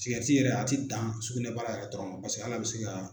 Sigarɛti yɛrɛ a tɛ dan sugunɛ baara yɛrɛ dɔrɔn paseke hali a bɛ se ka.